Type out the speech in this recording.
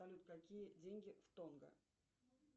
салют какие деньги в тонго